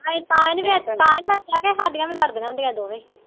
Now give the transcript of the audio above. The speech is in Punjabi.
ਅਸੀ ਤਾ ਈ ਨਹੀਂ ਤਾ ਈ ਨਹੀਂ ਰੱਖਿਆ ਤੇ ਹਾਡੀਆ ਵੀ ਲੜਦੀਆਂ ਹੁੰਦੀਆਂ ਦੋਵੇ।